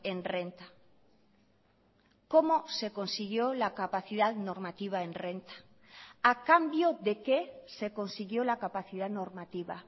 en renta cómo se consiguió la capacidad normativa en renta a cambio de qué se consiguió la capacidad normativa